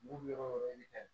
Mugu bɛ yɔrɔ yɔrɔ de